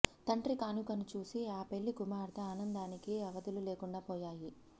తండ్రి కానుకను చూసి ఆ పెళ్లి కుమార్తె ఆనందానికి అవధులు లేకుండాపోయాయి